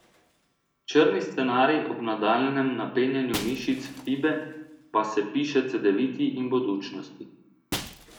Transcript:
Črni scenarij ob nadaljnjem napenjanju mišic Fibe pa se piše Cedeviti in Budućnosti.